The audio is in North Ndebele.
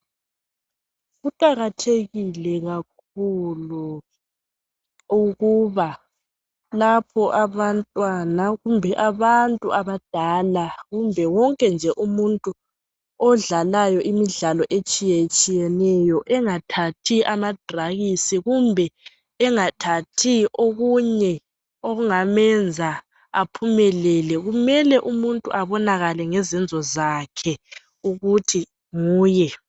Kuqakathekile kakhulu ukuba lapho abantwana kumbe abantu abadala kumbe wonke nje umuntu odlalayo imidlalo etshiyetshiyeneyo engathathi amadrakisi kumbe engathathi okunye okungamenza aphumelele. Kumele umuntu abonakale ngezenzo zakhe ukuthi nguye.